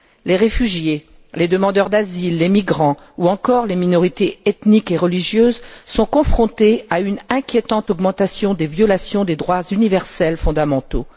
Les réfugiés, les demandeurs d'asile, les migrants ou encore les minorités ethniques et religieuses sont confrontés à une inquiétante augmentation des violations des droits universels fondamentaux.